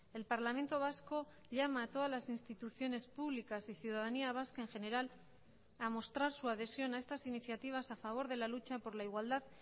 el parlamento vasco llama a todas las instituciones públicas y ciudadanía vasca en general a mostrar su adhesión a estas iniciativas a favor de la lucha por la igualdad